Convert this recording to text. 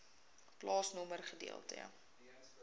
plaasnommer gedeelte